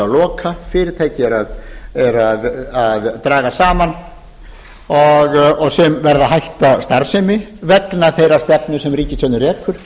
loka fyrirtæki eru að draga saman og sum verða hætta starfsemi vegna þeirrar stefnu sem ríkisstjórnin rekur